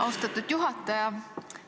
Austatud juhataja!